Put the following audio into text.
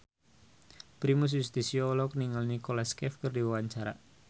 Primus Yustisio olohok ningali Nicholas Cafe keur diwawancara